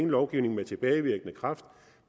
lovgivning med tilbagevirkende kraft